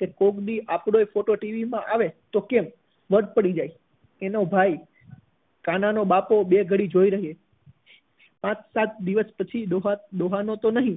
કે કોઈક દિવસ આપણો પણ ફોટો ટીવી માં આવે તો કેમ વટ પડી જાય એનો ભાઈ કાના નો બપો બે ઘડી જોઈ રહ્યો પાંચ સાત દિવસ પછી ડોહા ડોહા નો તો નહી